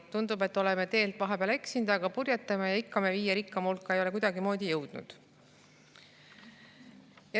Tundub, et oleme vahepeal teelt eksinud, aga purjetame, ja ikka me viie rikkaima hulka ei ole kuidagimoodi jõudnud.